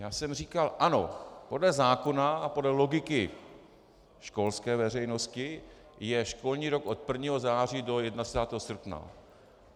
Já jsem říkal: Ano, podle zákona a podle logiky školské veřejnosti je školní rok od 1. září do 31. srpna.